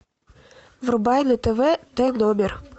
врубай на тв т номер